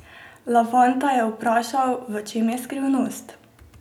Lavanta je vprašal, v čem je skrivnost?